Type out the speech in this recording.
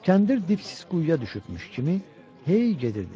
Kəndir dipsiz quyuya düşübmüş kimi hey gedirdi.